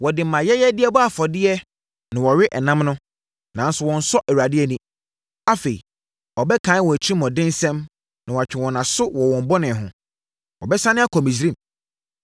Wɔde mʼayɛyɛdeɛ bɔ afɔdeɛ na wɔwe ɛnam no, nanso wɔnsɔ Awurade ani. Afei, ɔbɛkae wɔn atirimuɔdensɛm na watwe wɔn aso wɔ wɔn bɔne ho: Wɔbɛsane akɔ Misraim.